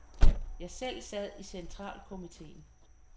Jeg selv sad i centralkomiteen.